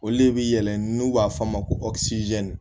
Olu de bɛ yɛlɛ n'u b'a fɔ a ma ko